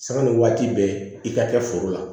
Sanni waati bɛɛ i ka kɛ foro la